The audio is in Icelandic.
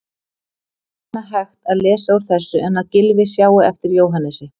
Ekki annað hægt að lesa úr þessu en að Gylfi sjái eftir Jóhannesi.